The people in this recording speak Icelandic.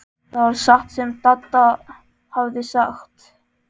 Það var satt sem Dadda hafði sagt.